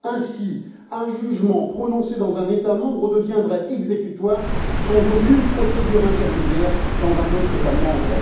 Ainsi, un jugement prononcé dans un État membre deviendrait exécutoire, sans aucune procédure intermédiaire, dans un autre État membre.